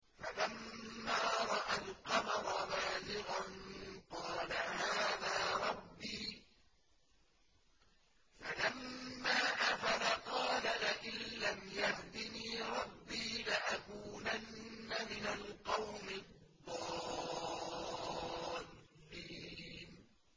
فَلَمَّا رَأَى الْقَمَرَ بَازِغًا قَالَ هَٰذَا رَبِّي ۖ فَلَمَّا أَفَلَ قَالَ لَئِن لَّمْ يَهْدِنِي رَبِّي لَأَكُونَنَّ مِنَ الْقَوْمِ الضَّالِّينَ